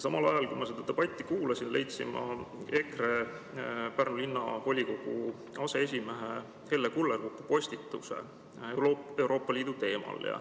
Samal ajal, kui ma seda debatti kuulasin, leidsin ma EKRE‑sse kuuluva, Pärnu Linnavolikogu aseesimehe Helle Kullerkupu postituse Euroopa Liidu teemal.